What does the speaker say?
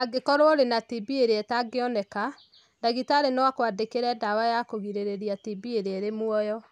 Angĩkorũo ũrĩ na TB ĩrĩa ĩtangĩoneka, ndagĩtarĩ no akwandĩkĩre ndawa ya kũgirĩrĩria TB ĩrĩa ĩrĩ muoyo.